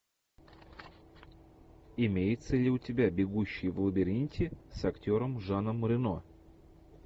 имеется ли у тебя бегущий в лабиринте с актером жаном рено